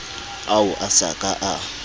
ao a sa ka a